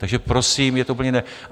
Takže, prosím, je to úplně jiné.